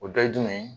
O dɔ ye jumɛn ye